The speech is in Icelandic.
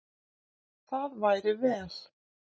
Það væri vel.